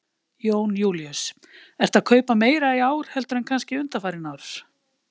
Jón Júlíus: Ertu að kaupa meira í ár heldur en kannski undanfarin ár?